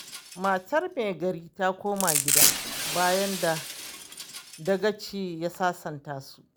Matar Me Gari ta koma gida, bayan da Dagaci ya sasanta su.